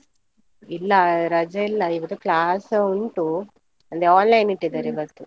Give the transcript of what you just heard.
ಇಲ್ಲ ರಜೆ ಇಲ್ಲ ಇವತ್ತು class ಉಂಟು, ಅಂದ್ರೆ online ಇವತ್ತು.